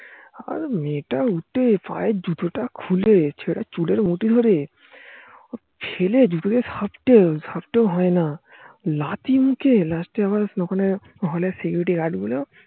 আর মেয়েটা উঠে পায়ের জুতো তা খুলে, ছেলেটার চুলের মুঠি তা ধরে ফেলে জুতো দিয়ে সাপটেসাপটেও হয় না লাঠি ঐখানে হল এর security guard গুলো